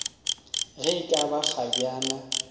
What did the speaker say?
ge e ka ba kgabjana